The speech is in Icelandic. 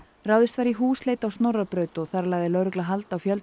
ráðist var í húsleit á Snorrabraut og þar lagði lögregla hald á fjölda